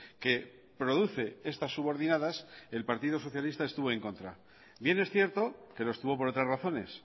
que produce estas subordinadas el partido socialista estuvo en contra bien es cierto que lo estuvo por otras razones